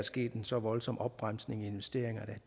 sket så voldsom en opbremsning i investeringerne at